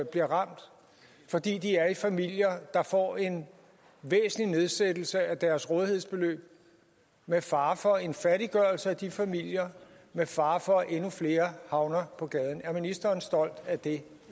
bliver ramt fordi de er i familier der får en væsentlig nedsættelse af deres rådighedsbeløb med fare for en fattiggørelse af de familier og med fare for at endnu flere havner på gaden er ministeren stolt af det